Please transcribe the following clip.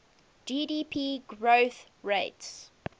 gdp growth rates